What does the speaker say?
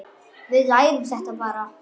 Við lærum þetta bara.